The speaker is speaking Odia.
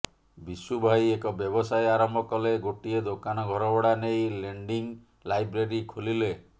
ବିଶୁଭାଇ ଏକ ବ୍ୟବସାୟ ଆରମ୍ଭ କଲେ ଗୋଟିଏ ଦୋକାନ ଘରଭଡ଼ା ନେଇ ଲେଣ୍ଡିଂ ଲାଇବ୍ରେରୀ ଖୋଲିଲେ